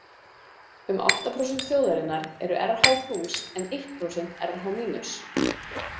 Um átta prósent þjóðarinnar eru Rh-plús en eitt prósent Rh-mínus.